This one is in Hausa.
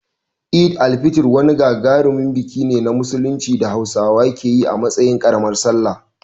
Eid al-Fitr wani gagarumin biki ne na Musulunci da Hausawa ke yi a matsayin ƙaramar Sallah.